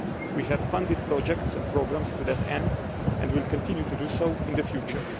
We have funded projects and programmes to that end and will continue to do so in the future.